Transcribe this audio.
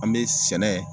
An bɛ sɛnɛ